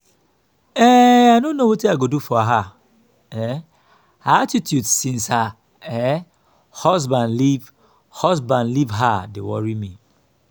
um i no know wetin i go do for her. um her attitude since her um husband leave husband leave her dey worry me